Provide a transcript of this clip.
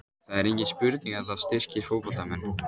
Það er engin spurning að þetta styrkir fótboltamenn.